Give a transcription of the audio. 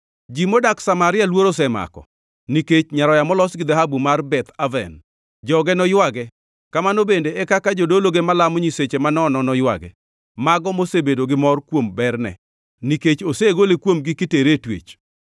Ji modak Samaria luoro osemako nikech nyaroya molos gi dhahabu mar Beth Aven. Joge noywage, kamano bende e kaka jodologe malamo nyiseche manono noywage, mago mosebedo gi mor kuom berne nikech osegole kuomgi kitere e twech.